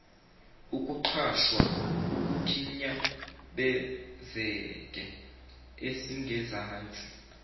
ukuqwasha kukhinyabezeke esingezansi